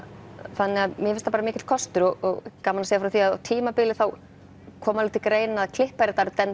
þannig mér finnst það bara mikill kostur og gaman að segja frá því að á tímabili kom alveg til greina að klippari